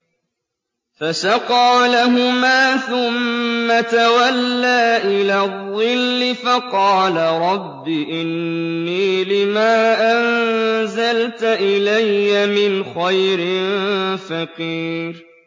فَسَقَىٰ لَهُمَا ثُمَّ تَوَلَّىٰ إِلَى الظِّلِّ فَقَالَ رَبِّ إِنِّي لِمَا أَنزَلْتَ إِلَيَّ مِنْ خَيْرٍ فَقِيرٌ